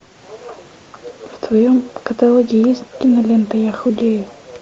в твоем каталоге есть кинолента я худею